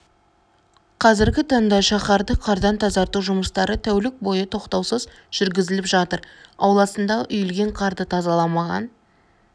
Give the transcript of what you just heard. қазіргі таңда шаһарды қардан тазарту жұмыстары тәулік бойы тоқтаусыз жүргізіліп жатыр ауласындағы үйілген қарды тазаламаған